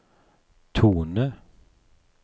tone